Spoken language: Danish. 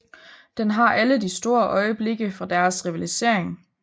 Den har alle de store øjeblikke fra deres rivalisering